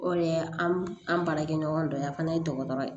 O de ye an baarakɛɲɔgɔn dɔ ye yan fana ye dɔgɔtɔrɔ ye